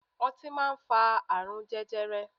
Ọtí máa ń fa àrùn jẹjẹrẹ.